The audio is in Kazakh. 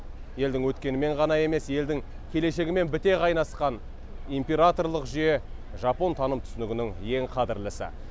елдің өткенімен ғана емес елдің келешегімен біте қайнасқан императорлық жүйе жапон таным түсінігінің ең қадірлісі